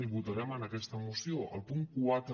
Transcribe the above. i votarem en aquesta moció el punt quatre